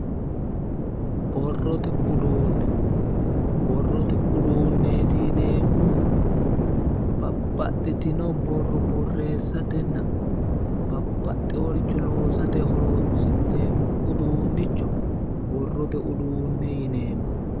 Borrote uduunne borrote uduunneti yineemmohu babbaxitino borro borreesatenna babbaxeworicho loosate horonnsi'neemo uduunnicho borrote uduunne yineemmo.